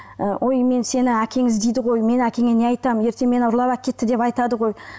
ы ой мен сені әкең іздейді ғой мен әкеңе не айтамын ертең мені ұрлап әкетті деп айтады ғой